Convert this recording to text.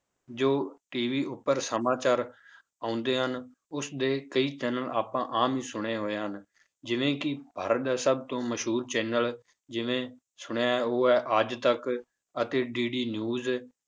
ਜੋ TV ਉੱਪਰ ਸਮਾਚਾਰ ਆਉਂਦੇ ਹਨ ਉਸਦੇ ਕਈ channel ਆਪਾਂ ਆਮ ਹੀ ਸੁਣਦੇ ਹੋਏ ਹਨ ਜਿਵੇਂ ਕਿ ਭਾਰਤ ਦਾ ਸਭ ਤੋਂ ਮਸ਼ਹੂਰ channel ਜਿਵੇਂ ਸੁਣਿਆ ਹੈ ਉਹ ਹੈ ਅੱਜ ਤੱਕ ਅਤੇ DD news